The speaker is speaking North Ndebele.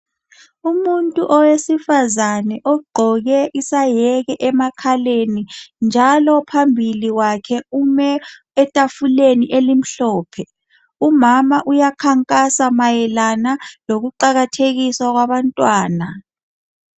Umuntu owesifazane ogqoke isayeke emakhaleni njalo phambili kwakhe ume etafuleni elimhlophe. Umama uyakhankasa mayelana lokuqakathekiswa kwabantwana.